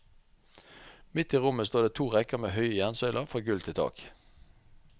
Midt i rommet står det to rekker med høye jernsøyler fra gulv til tak.